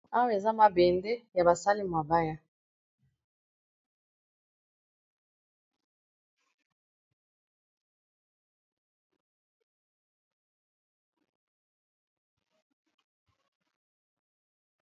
Awa eza mabende ya basali mabaya.